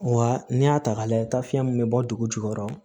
Wa n'i y'a ta k'a lajɛ taa fiyɛn min bɛ bɔ dugu jukɔrɔ